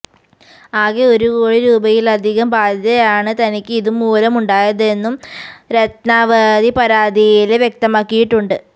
ആകെ ഒരു കോടി രൂപയിലധികം ബാധ്യതയാണ് തനിക്ക് ഇത് മൂലം ഉണ്ടായതെന്നും രത്നാവതി പരാതിയില് വ്യക്തമാക്കിയിട്ടുണ്ട്